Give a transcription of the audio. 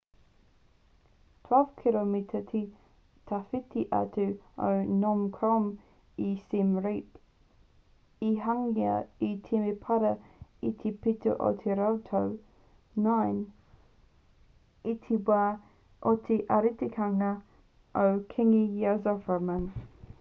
12 kiromita te tawhiti atu o phnom krom i siem reap i hangaia te temepara i te pito o te rautau 9 i te wā o te arikitanga o kīngi yasovarman